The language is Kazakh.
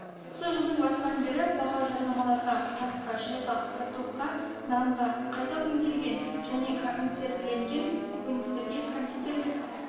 осы жылдың басынан бері баға жармаларға қантқа шайға картопқа нанға қайта өңделген және консервіленген көкөністерге кондитерлік